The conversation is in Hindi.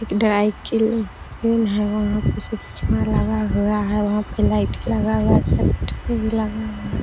एक ड्राई क्लीनर है वहाँ पिछे लगा हुआ है वहाँ पे लाइट लगा हुआ है शटर भी लगा हुआ है।